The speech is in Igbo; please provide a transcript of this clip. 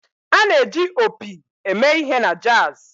A na-eji opi eme ihe na jazz.